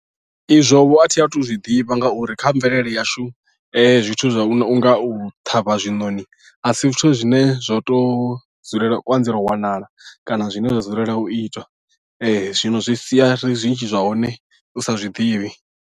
Izwo vho a thi a thu u zwi ḓivha ngauri kha mvelele yashu zwithu zwa u nga u ṱhavha zwiṋoni a si zwithu zwine zwa tou dzulela anzela u wanala kana zwine zwa dzulela u itwa zwino zwi sia ri zwinzhi zwa hone u sa zwiḓivhi.